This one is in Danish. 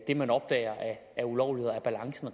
det man opdager af ulovligheder om balancen